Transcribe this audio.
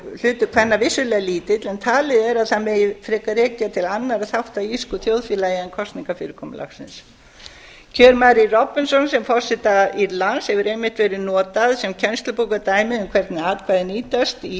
hlutur kvenna vissulega lítill en talið er að það megi frekar rekja til annarra þátta í írsku þjóðfélagi en kosningafyrirkomulagsins kjör mary robinson sem forseta írlands hefur einmitt verið notað sem kennslubókardæmi um hvernig atkvæði nýtast í